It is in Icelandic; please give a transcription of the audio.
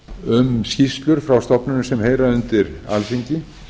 um skýrslur frá stofnunum sem heyra undir alþingi